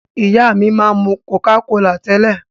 Ìyá mi máa ń mú Coca-Cola tẹ́lẹ̀.